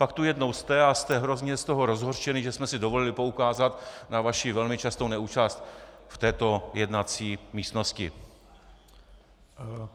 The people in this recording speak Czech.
Pak tu jednou jste a jste hrozně z toho rozhořčený, že jsme si dovolili poukázat na vaši velmi častou neúčast v této jednací místnosti.